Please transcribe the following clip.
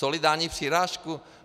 Solidární přirážku?